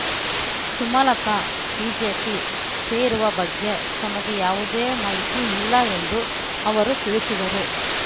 Sumalatha BJP ಸೇರುವ ಬಗ್ಗೆ ತಮಗೆ ಯಾವುದೇ ಮಾಹಿತಿ ಇಲ್ಲ ಎಂದು ಅವರು ತಿಳಿಸಿದರು